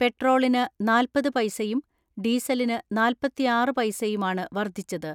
പെട്രോളിന് നാല്പത് പൈസയും ഡീസലിന് നാൽപ്പത്തിആറ് പൈസയുമാണ് വർദ്ധിച്ചത്.